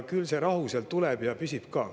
Küll see rahu siis tuleb ja püsib ka.